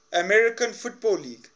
american football league